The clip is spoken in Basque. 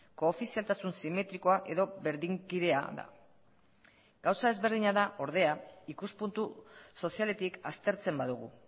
koofizialtasun simetrikoa edo berdinkidea da gauza ezberdina da ordea ikuspuntu sozialetik aztertzen badugu